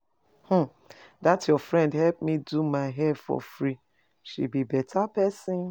um Dat your friend help me do my hair for free. She be beta person.